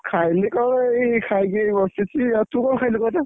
ଖାଇଲି କଣ ଏଇ ଖାଇକି ଏଇ ବସିଛି ଆଉ ତୁ କଣ ଖାଇଲୁ କହ ତ?